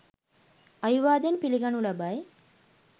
අවිවාදයෙන් පිළිගනු ලබයි.